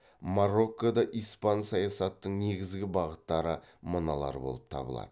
мароккода испан саясаттың негізгі бағыттары мыналар болып табылады